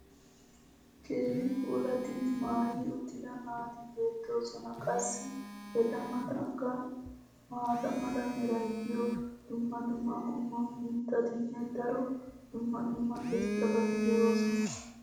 keehi puulattidi maayi uttida naati beetoosona. qassi eta matankka maata mala meray diyo dumma dumma qommo mitattinne hara dumma dumma irxxabati de'oosona.